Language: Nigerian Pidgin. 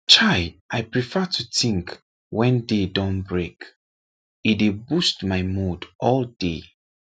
chai i prefer to think when day don break e dey boost my mood all day